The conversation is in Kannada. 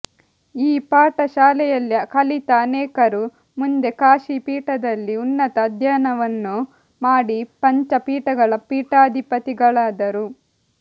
ಈ ಪಾಠ ಶಾಲೆಯಲ್ಲಿ ಕಲಿತ ಅನೇಕರು ಮುಂದೆ ಕಾಶಿ ಪೀಠದಲ್ಲಿ ಉನ್ನತ ಅಧ್ಯಯನವನ್ನು ಮಾಡಿ ಪಂಚ ಪೀಠಗಳ ಪೀಠಾಧಿಪತಿಗಳಾದರು